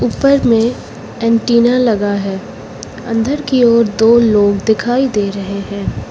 ऊपर में एंटिना लगा है अंदर की ओर दो लोग दिखाई दे रहे हैं।